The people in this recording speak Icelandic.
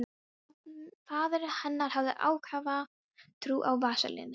Faðir hennar hafði ákafa trú á vaselíni.